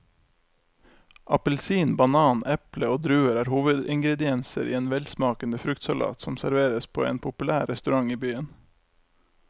Appelsin, banan, eple og druer er hovedingredienser i en velsmakende fruktsalat som serveres på en populær restaurant i byen.